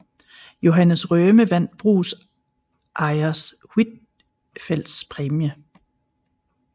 Johannes Røhme vandt brugsejers Huitfeldts præmie